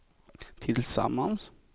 tillsammans